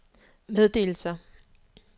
meddelelser